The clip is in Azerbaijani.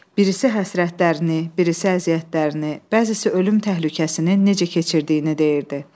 Birisi həsrətlərini, birisi əziyyətlərini, bəzisi ölüm təhlükəsini necə keçirdiyini deyirdi.